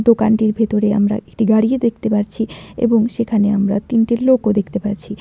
দোকানটির ভেতরে আমরা একটি গাড়িও দেখতে পারছি এবং সেখানে আমরা তিনটে লোকও দেখতে পারছি।